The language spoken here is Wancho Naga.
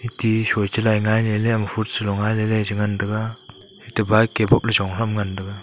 tishoi chalai ngai lele fruits charo ngai lele ateba ke boh pe jong kha ngan taga.